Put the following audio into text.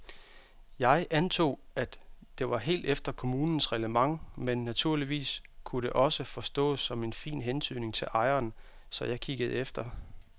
Jeg antog, at det var helt efter kommunens reglement men naturligvis kunne det også forstås som en fin hentydning til ejeren, så jeg kiggede efter.